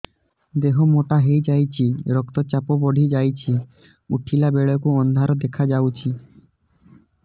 ଦେହ ମୋଟା ହେଇଯାଉଛି ରକ୍ତ ଚାପ ବଢ଼ି ଯାଉଛି ଉଠିଲା ବେଳକୁ ଅନ୍ଧାର ଦେଖା ଯାଉଛି